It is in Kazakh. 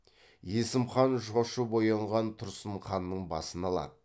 есім хан шошып оянған тұрсын ханның басын алады